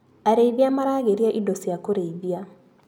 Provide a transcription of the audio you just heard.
Arĩithia maragĩria indo cia kũrĩithia.